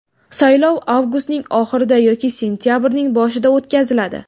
Saylov avgustning oxirida yoki sentabrning boshida o‘tkaziladi.